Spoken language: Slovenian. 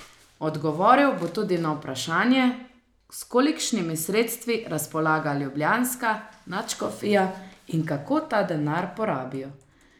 Odgovoril bo tudi na vprašanje, s kolikšnimi sredstvi razpolaga ljubljanska nadškofija in kako ta denar porabijo.